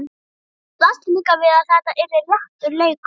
Það blasti líka við að þetta yrði léttur leikur.